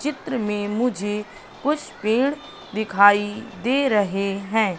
चित्र में मुझे कुछ पेड़ दिखाई दे रहे हैं।